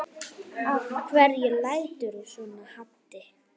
Af hverju læturðu svona Haddi?